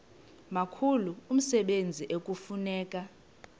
mkhulu umsebenzi ekufuneka